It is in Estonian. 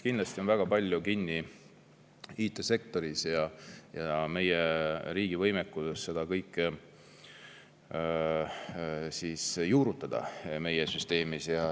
Kindlasti on väga palju kinni IT-sektoris ja meie riigi võimekuses seda kõike juurutada meie süsteemis.